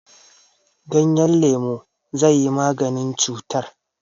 Ganyen lemu zai yi maganin cutar.